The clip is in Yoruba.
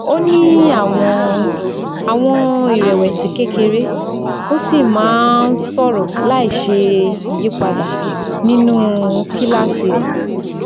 ó ní àwọn àwọn ìrẹ̀wẹ̀sì kékeré ó sì máa ń sọ̀rọ̀ láìṣe ìyípadà nínú kíláàsì rẹ̀